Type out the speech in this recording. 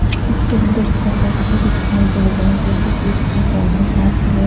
एक सुंदर सा मूर्ति दिखाई दे रहा है जो कि कृष्णा का है हाथ में--